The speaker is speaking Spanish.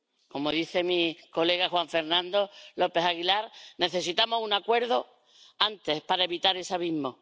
Como dice mi colega Juan Fernando López Aguilar, necesitamos un acuerdo antes para evitar el abismo.